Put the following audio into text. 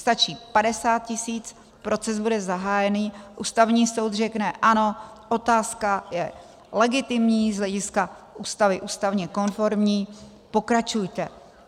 Stačí 50 tisíc, proces bude zahájený, Ústavní soud řekne: ano, otázka je legitimní, z hlediska Ústavy ústavně konformní, pokračujte.